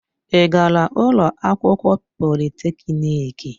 Ị gara ụlọ akwụkwọ polịtekniki?